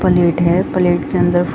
plate है plate के अंदर --